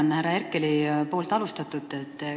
Ma jätkan härra Herkeli alustatut.